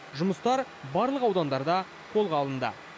жұмыстар барлық аудандарда қолға алынды